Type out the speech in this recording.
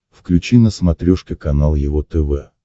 включи на смотрешке канал его тв